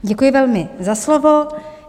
Děkuji velmi za slovo.